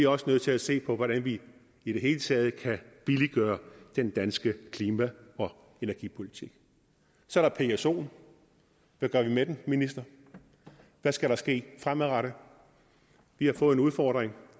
også nødt til at se på hvordan vi i det hele taget kan billiggøre den danske klima og energipolitik så er der psoen hvad gør vi med den minister hvad skal der ske fremadrettet vi har fået en udfordring